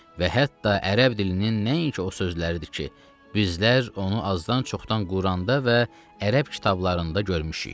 Və hətta ərəb dilinin nəinki o sözləridir ki, bizlər onu azdan-çoxdan Quranda və ərəb kitablarında görmüşük.